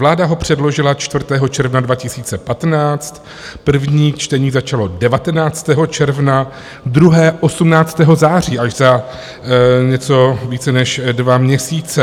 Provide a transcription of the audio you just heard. Vláda ho předložila 4. června 2015, první čtení začalo 19. června, druhé 18. září, až za něco více než dva měsíce.